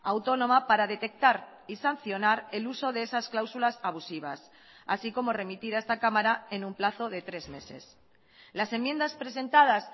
autónoma para detectar y sancionar el uso de esas cláusulas abusivas así como remitir a esta cámara en un plazo de tres meses las enmiendas presentadas